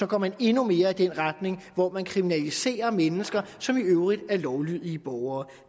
går man endnu mere i den retning hvor man kriminaliserer mennesker som i øvrigt er lovlydige borgere